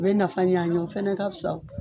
U bɛ nafa ɲan an ye o fana ka wo.